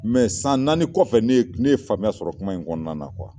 Mɛ san naani kɔfɛ ne ye ne ye faamuya sɔrɔ kuma in kɔnɔna na